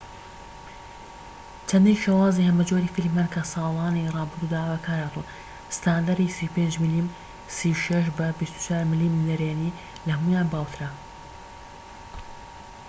چەندین شێوازی هەمەجۆری فیلم هەن کە لە ساڵانی ڕابردوودا بەکارهاتوون. ستاندەری 35 ملم 36 بە 24 ملم نەرێنی لە هەموویان باوترە‎